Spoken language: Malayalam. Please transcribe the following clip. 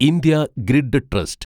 India grid trust